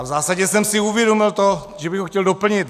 A v zásadě jsem si uvědomil to, že bych ho chtěl doplnit.